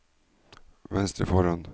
venstre foran